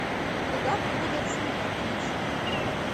куда приводят сны подключи